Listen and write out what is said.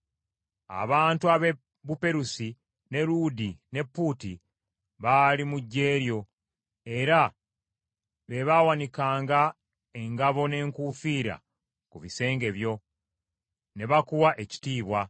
“ ‘Abantu ab’e Buperusi, ne Luudi ne Puuti , baali mu ggye lyo, era be baawanikanga engabo n’enkuufiira ku bisenge byo ne bakuwa ekitiibwa.